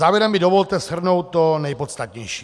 Závěrem mi dovolte shrnout to nejpodstatnější.